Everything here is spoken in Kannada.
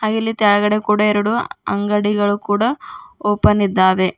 ಹಾಗೆ ಇಲ್ಲಿ ಕೆಳಗಡೆ ಕೂಡ ಎರಡು ಅಂಗಡಿಗಳು ಕೂಡ ಓಪನ್ ಇದ್ದಾವೆ.